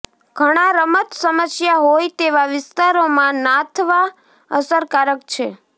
ઘણા રમત સમસ્યા હોય તેવા વિસ્તારોમાં નાથવા અસરકારક છે